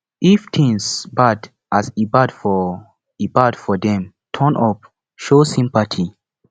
if things bad as e bad for e bad for them turn up show sympathy